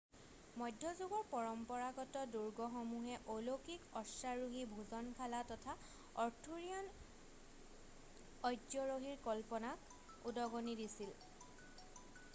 মধ্যযুগৰ পৰম্পৰাগত দুৰ্গসমূহে অলৌকিক অশ্বাৰোহী ভোজনশালা তথা অৰ্থুৰিয়ান অস্যৰহীৰ কল্পনাক উদগনি দিছিল